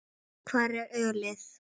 Hvar er ölið?